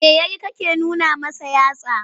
Me ya yi kake nuna masa yatsa?